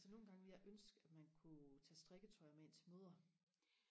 altså nogle gange ville jeg ønske at man kunne tage strikketøj med ind til møder